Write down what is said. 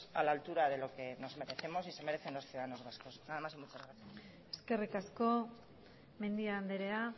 a la altura de lo que merecemos y se merecen los ciudadanos vascos nada mas y muchas gracias eskerrik asko mendia andrea